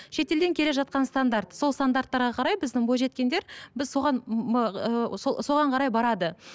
шетелден келе жатқан стандарт сол стандарттарға қарай біздің бойжеткендер біз соған соған қарай барады